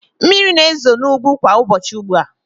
Mmiri na-ezo n'ugwu kwa ụbọchị ugbu a.